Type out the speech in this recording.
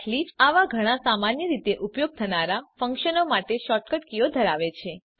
Eclipse આવા ઘણા સામાન્ય રીતે ઉપયોગ થનારા ફંક્શનો માટે શૉર્ટકટ કીઓ ધરાવે છે